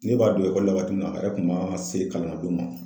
Ne b'a don la waati min na a yɛrɛ kun man se kalannadon ma.